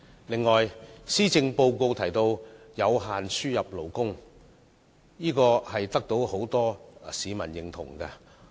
此外，施政報告提到有規限地增加輸入勞工，建議得到很多市民認同。